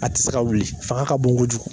A ti se ka wuli fanga ka bon kojugu.